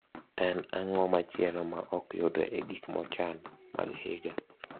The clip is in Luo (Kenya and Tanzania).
en ango machielo ma ok yudre e gik mochan mag higa